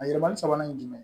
A yɛlɛmali sabanan ye jumɛn